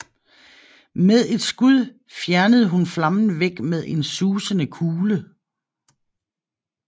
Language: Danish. Med et skud fjernede hun flammen væk med en susende kugle